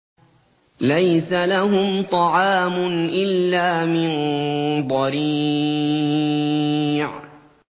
لَّيْسَ لَهُمْ طَعَامٌ إِلَّا مِن ضَرِيعٍ